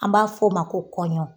An b'a f'o ma ko kɔɲɔn.